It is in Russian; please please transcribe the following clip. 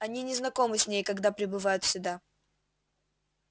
они не знакомы с ней когда прибывают сюда